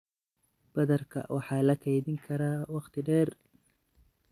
badarka waxa la kaydin karaa wakhti dheer.